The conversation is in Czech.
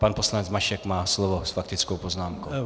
Pan poslanec Mašek má slovo s faktickou poznámkou.